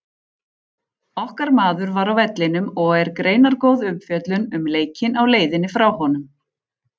Okkar maður var á vellinum og er greinargóð umfjöllun um leikinn á leiðinni frá honum.